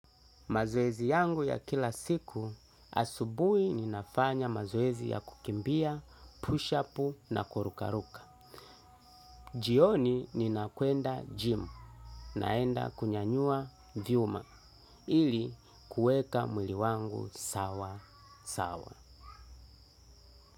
Mazoezi yangu ya kila siku, asubui ninafanya mazoezi ya kukimbia, push-ups na kurukaruka. Jioni ninakwenda gym naenda kunyanyua vyuma ili kueka mwili wangu sawa sawa.